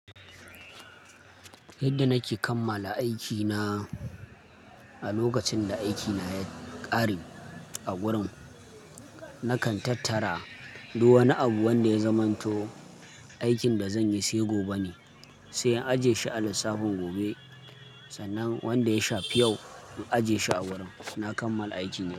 Yadda nake kammala aikina, a lokacin da aikina ya ƙare a wurin, nakan tattara duk wani abu wanda ya zamanto aikin da zan yi sai gobe ne, sai in ajiye shi a lissafin gobe, sannan wanda ya shafi yau in ajiye shi a wurin. Na kammala aikina.